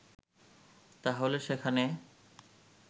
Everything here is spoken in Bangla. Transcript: তাহলে সেখানে